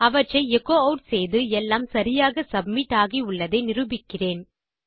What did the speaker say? அவற்றை echo add செய்து எல்லாம் சரியாக சப்மிட் ஆகி உள்ளதை நிரூபிக்கிறேன்